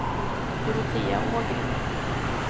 Dorotea Ågren